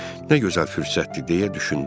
Nə gözəl fürsətdir deyə düşündüm.